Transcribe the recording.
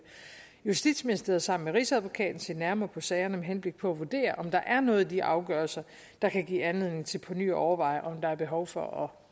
justitsministeriet sammen med rigsadvokaten se nærmere på sagerne med henblik på at vurdere om der er noget i de afgørelser der kan give anledning til på ny at overveje om der er behov for